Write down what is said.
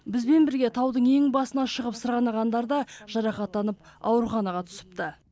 бізбен бірге таудың ең басына шығып сырғанағандар да жарақаттанып ауруханаға түсіпті